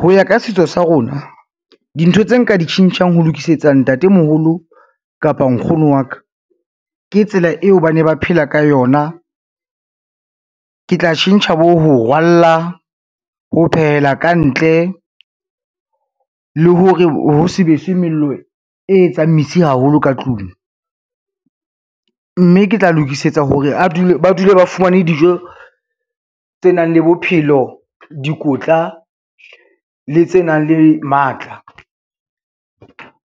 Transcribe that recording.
Ho ya ka setso sa rona dintho tse nka di tjhentjhang ho lokisetsa ntatemoholo kapa nkgono wa ka, ke tsela eo ba ne ba phela ka yona. Ke tla tjhentjha bo ho rwalla, ho phehela kantle le hore ho sebeswe mello e etsang mesi haholo ka tlung, mme ke tla lokisetsa hore ba dule ba fumane dijo tse nang le bophelo, dikotla le tse nang le matla.